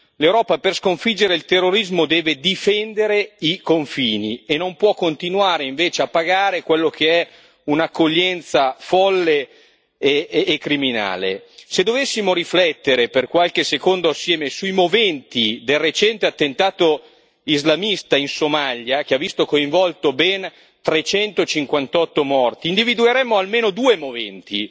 L'Europa, per sconfiggere il terrorismo, deve difendere i confini e non può continuare invece a pagare quella che è un'accoglienza folle e criminale. Se dovessimo riflettere per qualche secondo assieme sui moventi del recente attentato islamista in Somalia, che ha visto coinvolti ben 358 morti, individueremo almeno due moventi.